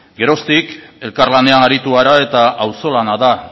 geroztik elkarlanean aritu gara eta auzolana da